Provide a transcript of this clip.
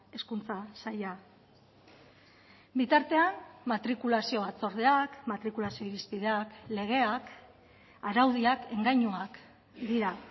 hezkuntza saila bitartean matrikulazio batzordeak matrikulazio irizpideak legeak araudiak engainuak dira